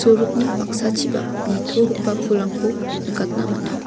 sorokni paksachipak nitogipa pulrangko nikatna man·a.